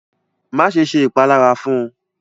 Máṣe ṣẹ́ ìpàlàrá fún!